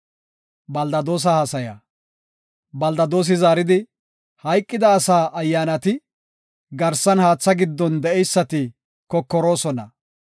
Beldadoosi zaaridi, “Hayqida asaa ayyaanati, garsan haatha giddon de7eysati kokoroosona.